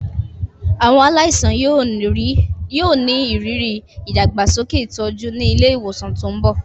Àwọn aláìsàn yóò ní ìrírí ìdàgbàsókè ìtọ́jú ní ilé ìwòsàn tó ń bọ̀.